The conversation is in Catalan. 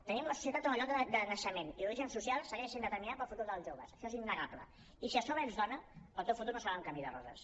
tenim una societat on el lloc de naixement i l’origen social segueixen sent determinants per al futur dels joves això és innegable i si a sobre ets dona el teu futur no serà un camí de roses